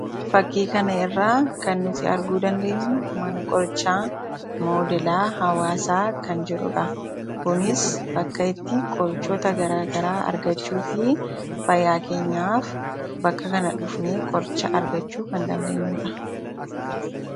Fakkii kana irraa kan nuti arguu dandeenyu mana qorichaa hawaasaa kan jedhudha. Kunis bakka itti qorichoota garaa garaa argachuu fi fayyaakeenyaaf bakka kana dhufnee qoricha argachuu kan dandeenyudha.